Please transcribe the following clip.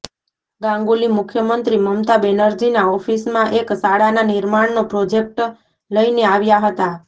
ગાંગુલી મુખ્યમંત્રી મમતા બેનર્જીના ઓફિસમાં એક શાળાના નિર્માણનો પ્રોજેક્ટ લઇને આવ્યા હતા